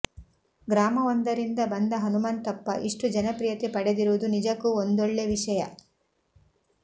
ಗ್ರಾಮವೊಂದರಿಂದ ಬಂದ ಹನುಮಂತಪ್ಪ ಇಷ್ಟು ಜನಪ್ರಿಯತೆ ಪಡೆದಿರುವುದು ನಿಜಕ್ಕೂ ಒಂದೊಳ್ಳೆ ವಿಷಯ